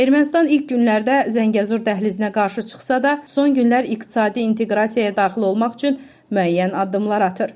Ermənistan ilk günlərdə Zəngəzur dəhlizinə qarşı çıxsa da, son günlər iqtisadi inteqrasiyaya daxil olmaq üçün müəyyən addımlar atır.